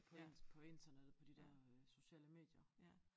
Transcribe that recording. På in på internettet på de der øh sociale medier